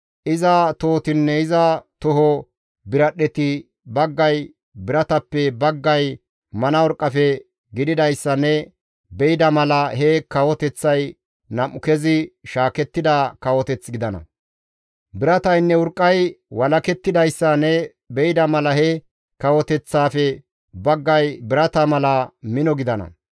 Iza tohotinne iza toho biradhdheti baggay biratappe baggay mana urqqafe gididayssa ne be7ida mala he kawoteththay nam7u kezi shaakettida kawoteth gidana; birataynne urqqay walakettidayssa ne be7ida mala he kawoteththaafe baggay birata mala mino gidana.